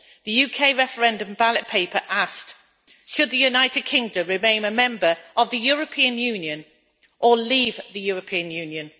The UK referendum ballot paper asked Should the United Kingdom remain a Member of the European Union or leave the European Union?